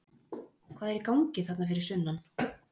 Hvað er í gangi þarna fyrir sunnan?